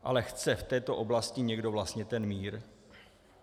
Ale chce v této oblasti někdo vlastně ten mír?